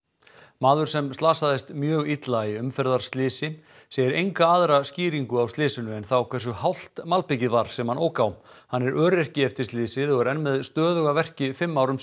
maður sem slasaðist mjög illa í umferðarslysi segir enga aðra skýringu á slysinu en þá hversu hált malbikið var sem hann ók á hann er öryrki eftir slysið og er enn með stöðuga verki fimm árum